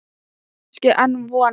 Var kannski enn von?